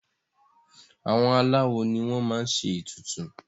àwọn aláwo ni wọ́n máa n ṣe ètùtù